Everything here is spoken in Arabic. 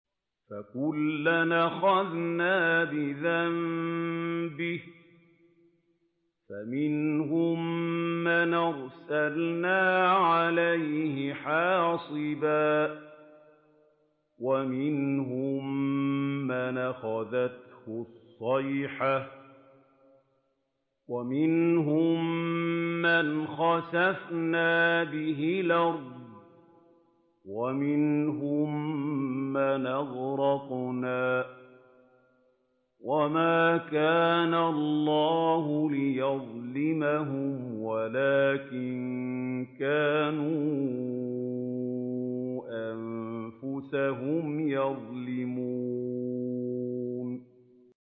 فَكُلًّا أَخَذْنَا بِذَنبِهِ ۖ فَمِنْهُم مَّنْ أَرْسَلْنَا عَلَيْهِ حَاصِبًا وَمِنْهُم مَّنْ أَخَذَتْهُ الصَّيْحَةُ وَمِنْهُم مَّنْ خَسَفْنَا بِهِ الْأَرْضَ وَمِنْهُم مَّنْ أَغْرَقْنَا ۚ وَمَا كَانَ اللَّهُ لِيَظْلِمَهُمْ وَلَٰكِن كَانُوا أَنفُسَهُمْ يَظْلِمُونَ